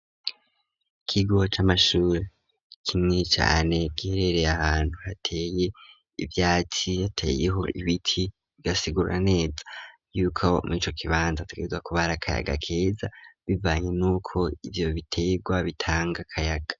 Ikigo c'amashuri kinini cane giherereye ahantu hateye ivyatsi yateyeho ibiti bigasigura neza yuka murico kibanza hategerezwa kuba hari akayaga keza bivanye n'uko ivyo bitegwa bitanga akayaga.